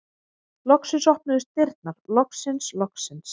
Loksins opnuðust dyrnar, loksins, loksins!